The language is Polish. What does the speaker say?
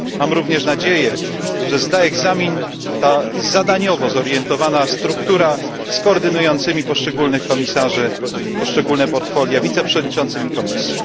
Mam również nadzieję, że zda egzamin zadaniowo zorientowana struktura z koordynującymi poszczególnych komisarzy i poszczególne portfolia wiceprzewodniczącymi komisji.